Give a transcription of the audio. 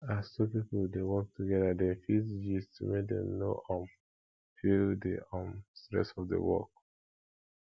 as two pipo de work together dem fit de gist make dem no um feel di um stress of di work